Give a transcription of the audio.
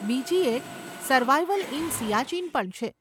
બીજી એક survival in Siachen પણ છે.